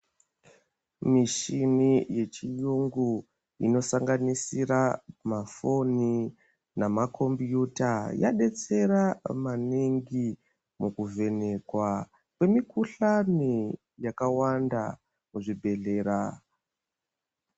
Michini yechiyungu inosanganisira mafoni namakhombiyuta, yabetsera maningi mukuvhenekwa kwemikuhlani yakawanda kuzvibhedhlera.